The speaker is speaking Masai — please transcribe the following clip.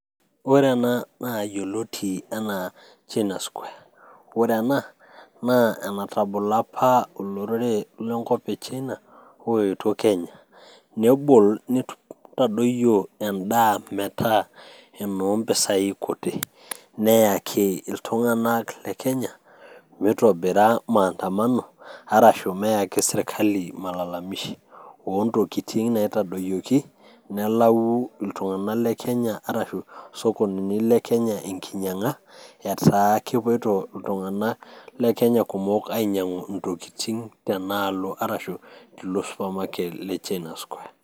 Ore ena naa yioloti enaa china square ore ena naa enatabolo olorere lenkop e China oetuo Kenya nebol nitadoyio endaa metaa inompisai kuti neyaki iltung'anak le Kenya mitobira maandamano arashu meyaki sirkali malalamishi ontokitin naitadoyioki nelau iltung'anak le kenya arashu isokonini le kenya enkinyiang'a etaa kipuoito iltung'anak le kenya kumok ainyiang'u iintokitin tenaalo arashu tilo supermarket le China square.